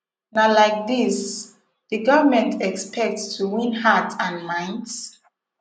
na like dis di government expect to win hearts and minds